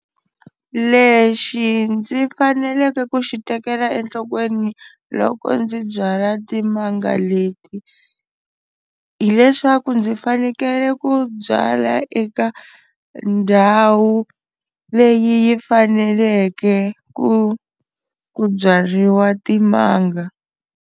Lexi ndzi faneleke ku xi tekela enhlokweni loko ndzi byala timanga leti hileswaku ndzi fanele ku byala eka ndhawu leyi faneleke ku ku byariwa timanga.